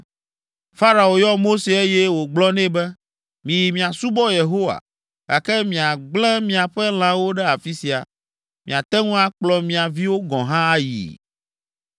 Farao yɔ Mose, eye wògblɔ nɛ be, “Miyi miasubɔ Yehowa, gake miagblẽ miaƒe lãwo ɖe afi sia. Miate ŋu akplɔ mia viwo gɔ̃ hã ayii.”